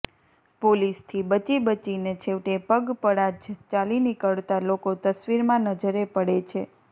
પોલીસથી બચી બચીને છેવટે પગપળા જ ચાલી નિકળતા લોકો તસ્વીરમાં નજરે પડે છે